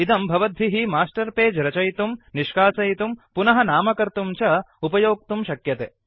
इदं भवद्भिः master page रचयितुम् निष्कासयितुम् पुनः नामकर्तुं च उपयोक्तुं शक्यते